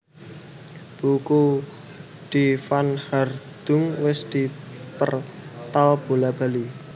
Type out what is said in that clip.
Buku Die Verwandlung wis dipertal bola bali